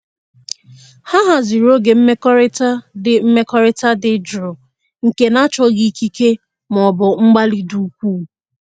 Ha haziri oge mmekọrịta dị mmekọrịta dị jụụ nke na-achọghị ikike maọbụ mgbalị dị ukwuu.